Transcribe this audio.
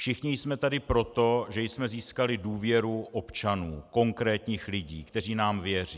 Všichni jsme tady proto, že jsme získali důvěru občanů, konkrétních lidí, kteří nám věří.